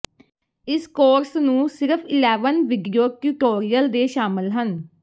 ਇਸ ਕੋਰਸ ਨੂੰ ਸਿਰਫ ਇਲੈਵਨ ਵੀਡੀਓ ਟਿਊਟੋਰਿਯਲ ਦੇ ਸ਼ਾਮਲ ਹਨ